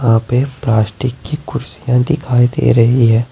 यहां पे प्लास्टिक की कुर्सीयां दिखाई दे रही है।